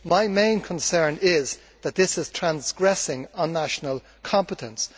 My main concern is that this is transgressing national competence.